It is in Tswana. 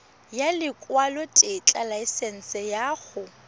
ya lekwalotetla laesense ya go